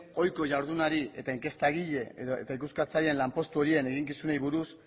ohiko jardunari eta inkestagile eta ikuskatzaileen lanpostu horien eginkizunei buruz